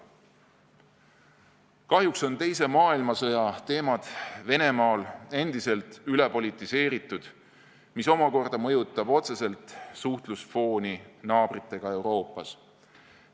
Kahjuks on teise maailmasõja teemad Venemaal endiselt ülepolitiseeritud, mis omakorda mõjutab otseselt suhtlusfooni naabritega Euroopas.